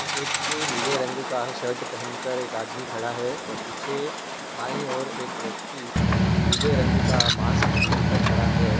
नीले रंग का शर्ट पेहेन कर एक आदमी खड़ा है और पीछे बाई ओर एक व्यक्ति नी-नी-नीले रंग का मास्क पहन कर खड़ा है।